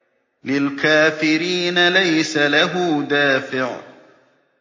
لِّلْكَافِرِينَ لَيْسَ لَهُ دَافِعٌ